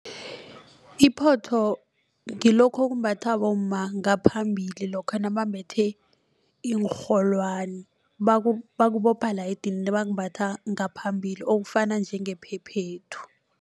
Iphotho ngilokho okumbathwa bomma ngaphambili lokha nabambethe iinrholwani bakubopha edinini bakumbatha ngaphambili okufana njengephephethu.